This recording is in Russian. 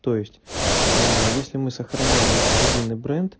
то есть если мы сохраняем единый бренд